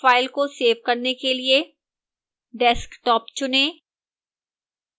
file के cell करने के लिए desktop चुनें